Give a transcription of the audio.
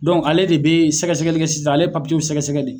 Dɔn ale de be sɛgɛsɛgɛli kɛ sisan ale ye papiw sɛgɛsɛgɛ de